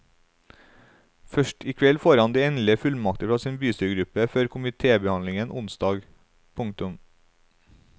Først i kveld får han de endelige fullmakter fra sin bystyregruppe før komitébehandlingen onsdag. punktum